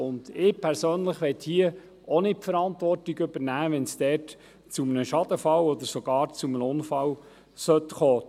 Ich persönlich möchte auch nicht die Verantwortung übernehmen, sollte es dort zu einem Schadensfall oder sogar zu einem Unfall kommen.